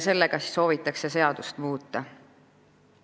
Selleks siis soovitakse seadust muuta.